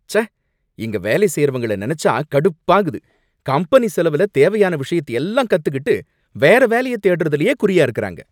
ச்ச! இங்க வேலை செய்றவங்கள நினைச்சா கடுப்பாகுது. கம்பெனி செலவுல தேவையான விஷயத்தை எல்லாம் கத்துக்கிட்டு வேற வேலைய தேடறதுலேயே குறியா இருக்காங்க.